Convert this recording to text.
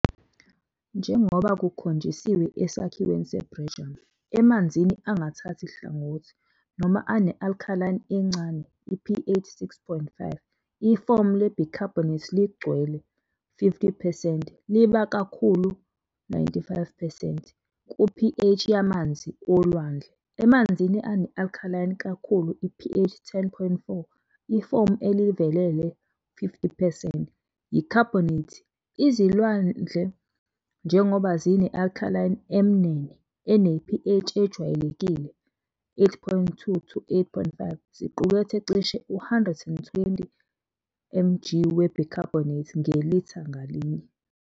Njengoba kukhonjisiwe esakhiweni seBjerrum, emanzini angathathi hlangothi noma ane-alkaline encane, pH and gt, 6.5, ifomu le-bicarbonate ligcwele, and gt, 50 percent, liba kakhulu, and gt, 95 percent, ku-pH yamanzi olwandle. Emanzini ane-alkaline kakhulu, pH and gt, 10.4, ifomu elivelele, and gt, 50 percent, yi-carbonate. Izilwandle, njengoba zine-alkaline emnene ene-pH ejwayelekile 8.2-8.5, ziqukethe cishe i-120 mg we-bicarbonate ngelitha ngalinye.